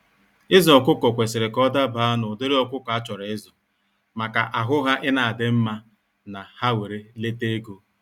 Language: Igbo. Ịzụ ọkụkọ kwesịrị ka ọ dabaa na ụdịrị ọkụkọ a chọrọ ịzụ maka ahụ ha ina adị mma na ha were lete ego.